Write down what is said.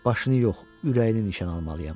Başını yox, ürəyini nişan almalıyam.